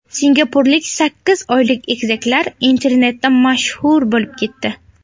Singapurlik sakkiz oylik egizaklar internetda mashhur bo‘lib ketdi .